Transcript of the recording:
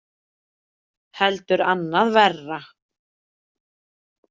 Heldur annað verra.